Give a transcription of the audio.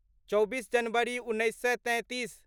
चौबीस जनवरी उन्नैस सए तैंतीस